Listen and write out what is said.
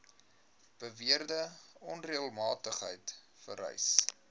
beweerde onreëlmatigheid vereis